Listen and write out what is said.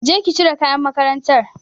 Je ki cire kayan makarantar.